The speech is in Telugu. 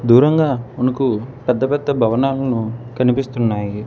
దూరంగా మనకు పెద్ద-పెద్ద భవనాలను కనిపిస్తున్నాయి.